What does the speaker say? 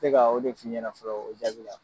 tɛ ka o de f'i ɲɛna fɔlɔ o jaabi